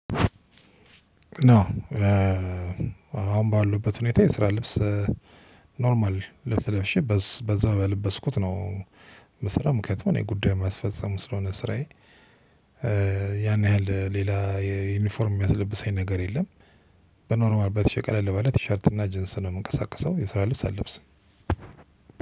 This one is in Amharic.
አሁን ባለውበት ሁኔታ የስራ ልብስ ኖርማል ልብስ ለብሼ በዛ በለበስኩት ነው ስራውም ምክነቱም እኔ ጉዳዩን መስፈጸም ስለሆነ ስራዬ። ያን ያህል ሌላ የዩኒፎርም የሚያስለብሰኝ ነገር የለም። በኖርማል በቲሸ ቀለል ባለ ቲሸርት እና ጂንስ ነው የምንቀሳቀሰው የሰራ ልብስ አልለብስም።